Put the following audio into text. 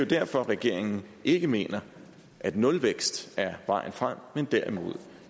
derfor regeringen ikke mener at nulvækst er vejen frem men derimod